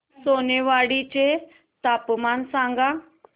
सोनेवाडी चे तापमान सांग